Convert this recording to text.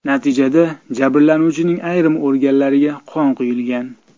Natijada jabrlanuvchining ayrim organlariga qon quyilgan.